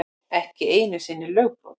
Ekki einu sinni lögbrot.